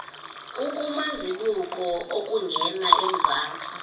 ukumazibuko okungena emzantsi